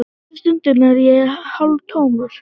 Þessa stundina er ég hálftómur.